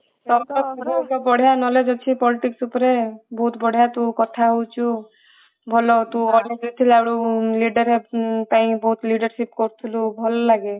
ବଢିଆ knowledge ଅଛି politics ଉପରେ ବହୁତ ବଢିଆ ସେ କଥା ହୋଉଛୁ ଭଲ ତୁ କଲେଜ ରେ ଥିଲା ବେଳେ leader ପାଇଁ ବହୁତ leadership କରୁଥିଲୁ ଭଲ ଲାଗେ